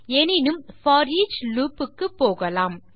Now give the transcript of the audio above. எனினும் போரிச் லூப் க்கு போகலாம்